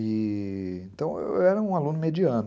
E... então eu era um aluno mediano.